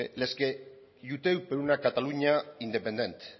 les que per una catalunya independent